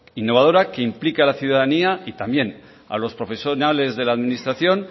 innovadora que implique a la ciudadanía y también a los profesionales de la administración